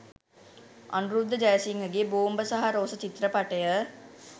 අනුරුද්ධ ජයසිංහගේ ‘‘බෝම්බ සහ රෝස’’චිත්‍රපටය